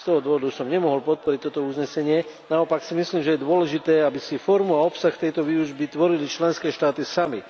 Z toho dôvodu som nemohol podporiť toto uznesenie, naopak si myslím, že je dôležité, aby si formu a obsah tejto výučby tvorili členské štáty samy.